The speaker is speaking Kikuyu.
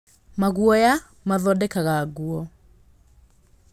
Maguoya mathondekaga nguo.